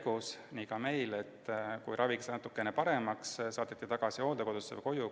Kui natukene paremaks, saadeti ta tagasi hooldekodusse või koju.